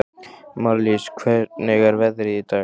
Marlís, hvernig er veðrið í dag?